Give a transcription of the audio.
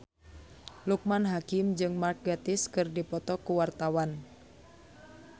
Loekman Hakim jeung Mark Gatiss keur dipoto ku wartawan